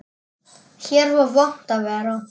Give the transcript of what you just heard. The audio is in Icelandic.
Hér var vont að vera.